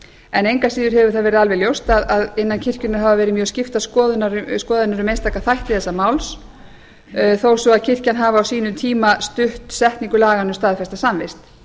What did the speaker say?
en engu að síður hefur það verið alveg ljóst að innan kirkjunnar hafa verið mjög skiptar skoðanir um einstaka þætti þessa máls þó svo að kirkjan hafi á sínum tíma stutt setningu laganna um staðfesta samvist